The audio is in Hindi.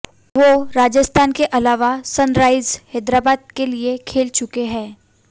वो राजस्थान के अलावा सनराइजर्स हैदराबाद के लिए खेल चुके हैं